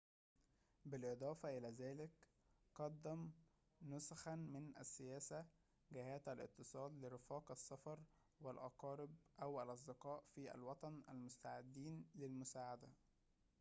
بالإضافة إلى ذلك قدّم نسخاً من السياسة/جهات الاتصال لرفاق السفر والأقارب أو الأصدقاء في الوطن المستعدين للمساعدة